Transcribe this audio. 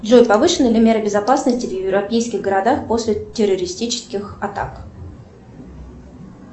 джой повышены ли меры безопасности в европейских городах после террористических атак